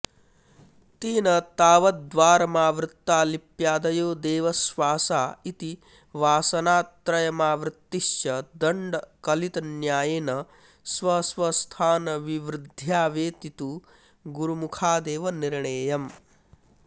तेन तावद्वारमावृत्ता लिप्यादयो देवश्वासा इति वासनात्रयमावृत्तिश्च दण्डकलितन्यायेन स्वस्वस्थानविवृद्ध्या वेति तु गुरुमुखादेव निर्णेयम्